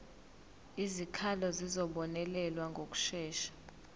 izikhalazo zizobonelelwa ngokushesha